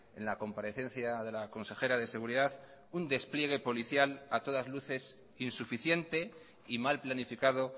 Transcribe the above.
en la comparecencia de la consejera de seguridad un despliegue policial a todas luces insuficiente y mal planificado